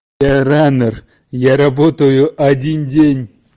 ранер я работаю один день